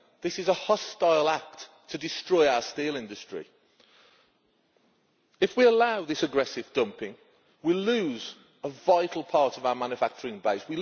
It is a hostile act to destroy our steel industry. If we allow this aggressive dumping, we will lose a vital part of our manufacturing base.